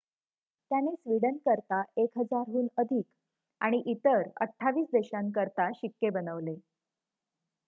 त्याने स्वीडनकरिता 1,000 हून अधिक आणि इतर 28 देशांकरिता शिक्के बनवले